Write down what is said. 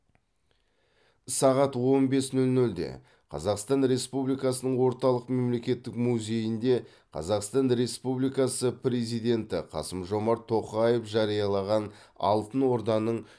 сағат он бес нөл нөлде қазақстан республикасының орталық мемлекеттік музейінде қазақстан республикасы президенті қасым жомарт тоқаев жариялаған алтын орданың